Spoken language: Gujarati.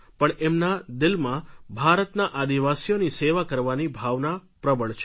પણ એમના દિલમાં ભારતના આદિવાસીઓની સેવા કરવાની ભાવના પ્રબળ છે